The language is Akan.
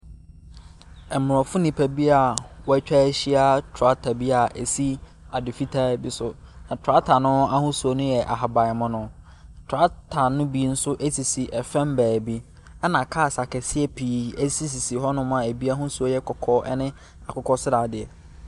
Mmrɔfo nnipa bia, wɔtwahyia tractor bia esi ade fitaa bi so. Na tractor no ahosuo yɛ ahaban mono. Tractor no bi nso esisi ɛfam baabi ɛna cars akɛseɛ pii esisisi hɔ nom a ebi ahosuo yɛ kɔkɔɔ ne akokɔ sradeɛ.